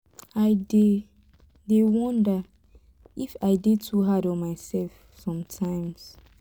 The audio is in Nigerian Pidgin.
i dey dey wonder if i dey too hard on myself sometimes